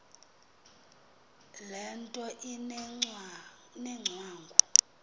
le nto inengcwangu